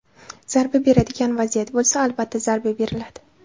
Zarba beradigan vaziyat bo‘lsa, albatta zarba beriladi.